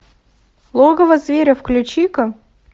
логово зверя включи ка